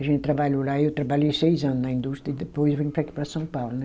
A gente trabalhou lá, eu trabalhei seis anos na indústria e depois vim para aqui para São Paulo, né?